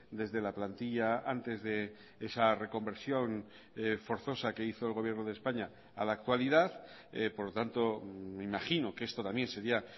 desde la plantilla antes de esa reconversión forzosa que hizo el gobierno de españa a la actualidad por lo tanto me imagino que esto también sería